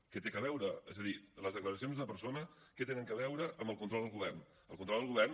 què hi té a veure és a dir les declaracions d’una persona què tenen a veure amb el control al govern el control al govern